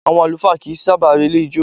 Àwọn àlùfáà kì í sábà relé ijó.